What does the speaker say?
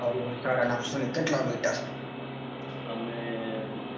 ઓહહો સદનાઉસોની કેટલા મીટર. અમે